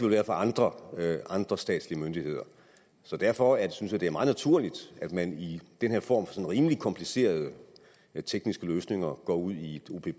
være for andre andre statslige myndigheder så derfor synes jeg det er meget naturligt at man i den her form med rimelig komplicerede tekniske løsninger går ud i